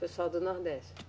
Pessoal do Nordeste.